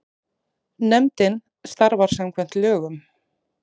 Nefndin starfar samkvæmt lögum.